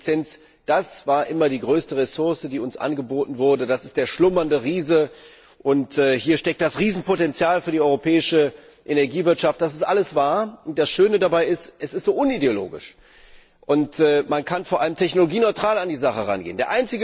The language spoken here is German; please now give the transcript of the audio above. Energieeffizienz das war immer die größte Ressource, die uns angeboten wurde, das ist der schlummernde Riese, hier steckt das Riesenpotenzial für die europäische Energiewirtschaft. Das ist alles wahr, und das Schöne dabei ist, es ist so unideologisch. Man kann vor allem technologieneutral an die Sache herangehen.